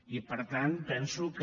i per tant penso que